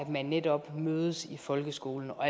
man netop mødes i folkeskolen og